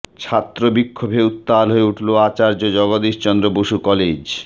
ছাত্র বিক্ষোভে উত্তাল হয়ে উঠল আচার্য জগদীশচন্দ্র বসু কলেজ